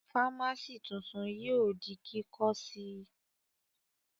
Fámásì tuntun yóò di kíkọ́ sí Ì